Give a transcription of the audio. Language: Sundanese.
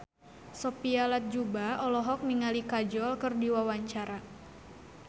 Sophia Latjuba olohok ningali Kajol keur diwawancara